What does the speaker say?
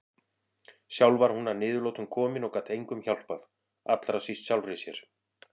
Sjálf var hún að niðurlotum komin og gat engum hjálpað, allra síst sjálfri sér.